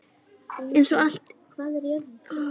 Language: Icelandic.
Eins og allt moraði í krökkum maður.